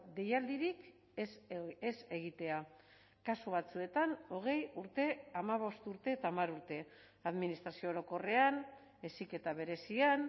deialdirik ez egitea kasu batzuetan hogei urte hamabost urte eta hamar urte administrazio orokorrean heziketa berezian